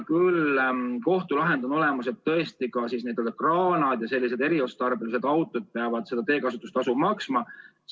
Nüüd on kohtulahend olemas ja tõesti ka kraanad ja eriotstarbelised autod peavad teekasutustasu maksma.